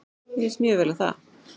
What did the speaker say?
Mér líst mjög vel á það.